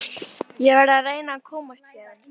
Ég verð að reyna að komast héðan.